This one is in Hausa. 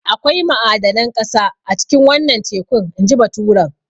Akwai ma'adanan ƙasa a cikin wannan tekun inji baturen.